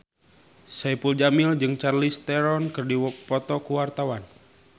Saipul Jamil jeung Charlize Theron keur dipoto ku wartawan